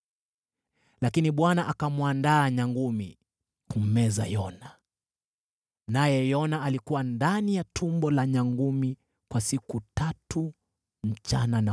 Lakini Bwana akamwandaa nyangumi kummeza Yona, naye Yona alikuwa ndani ya tumbo la nyangumi kwa siku tatu, usiku na mchana.